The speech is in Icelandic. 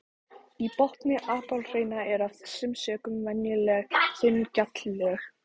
Í botni apalhrauna eru af þessum sökum venjulega þunn gjalllög.